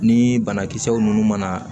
Ni banakisɛw ninnu mana